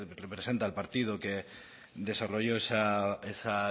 representa al partido que desarrolló